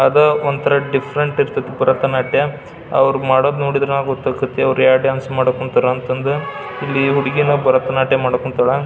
ಅದ ಒಂತರ ಡಿಫರೆಂಟ್ ಆನ್ಸ್ತತಿ ಭರತನಾಟ್ಯ ಅವ್ರು ಮಾಡೋದ್ ನೋಡಿದ್ರ ಗೊತ್ತಕೈತಿ ಅವ್ರು ಯಾವ್ ಡಾನ್ಸ್ ಮಾಡಕ್ ಹೊಂತರ ಅಂತಂದ್ರ ಇಲ್ಲಿ ಹುಡುಗಿನೂ ಭರತನಾಟ್ಯ ಮಾಡೋಕ್ ಹೊಂತಳಾ.